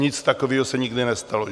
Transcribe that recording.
Nic takového se nikdy nestalo.